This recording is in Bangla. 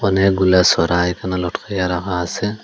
অনেকগুলা সরা এখানে লটকাইয়া রাখা আসে।